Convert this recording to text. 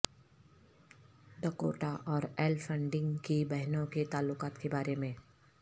Dakota اور Elle Fanning کی بہنوں کے تعلقات کے بارے میں